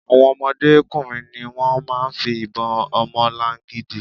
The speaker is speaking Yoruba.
Àwon ọmọdé kùnrin ni wón máa ń fi ìbon ọmọlangidi.